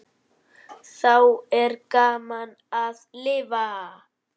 Þá er gaman að lifa!